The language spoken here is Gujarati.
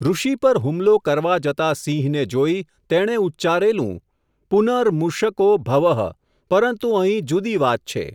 ૠષિ પર હુમલો કરવા જતા સિંહ ને જોઈ, તેણે ઉચ્ચારેલું, પુન ર્મુષકો ભવઃ પરંતુ અહીં જુદી વાત છે.